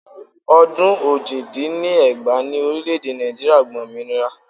Ọdún ojì dín ní ẹgbàá ni orílẹ̀ èdè Nàìjíríà gba òmìnira